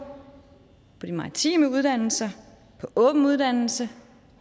på de maritime uddannelser på åben uddannelse